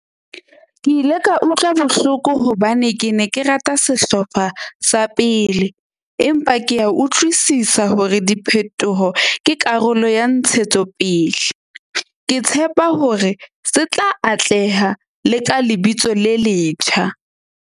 Ke ile ka utlwa bohloko hobane ke ne ke rata sehlopha sa pele, empa ke a utlwisisa hore diphetoho ke karolo ya ntshetsopele. Ke tshepa hore se tla atleha le ka lebitso le letjha.